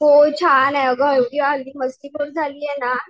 होय छाने आग हल्ली अगदी मस्तीखोर झालीये ना.